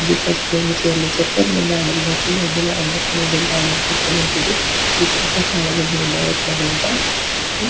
పసుపు రంగు చీరలు ఇచ్చారు కొంతమంది ఆడవాళ్ళకి అందరికీ ఆడవాళ్ళకి మొగోళ్ళకి చూడడానికి చాలామంది ఉన్నారు అన్నమాట. ఇక్కడ --